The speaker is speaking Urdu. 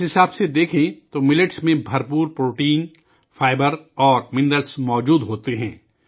اس حساب سے بھی دیکھیں تو ملٹ میں پروٹین، فائبر اور منرل بھرپور ہوتے ہیں